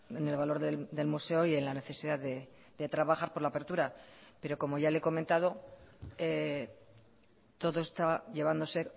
en el valor del museo y en la necesidad de trabajar por la apertura pero como ya le he comentado todo está llevándose